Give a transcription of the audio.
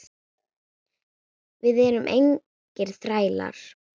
Við erum engir þrælar.